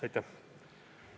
Aitäh!